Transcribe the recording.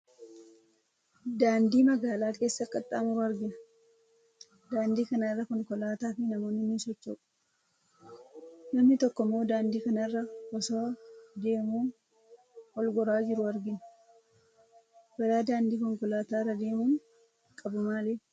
Daandii magaala keessa qaxxaamuru argina. Daandii kana irra konkolaataa fi namoonni ni socho'u. Namni tokko immoo daandii kana irra osoo deemuu ol goraa jiru argina. Balaa daandii konkolaataa irra deemuun qabu maali?